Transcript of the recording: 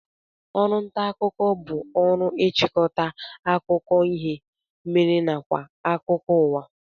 Oru nta akuko bu oru ichikota akuko ihe mere nakwa akuko uwa